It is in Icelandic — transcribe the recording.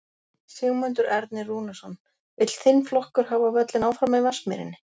Sigmundur Ernir Rúnarsson: Vill þinn flokkur hafa völlinn áfram í Vatnsmýrinni?